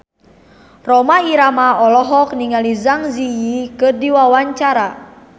Rhoma Irama olohok ningali Zang Zi Yi keur diwawancara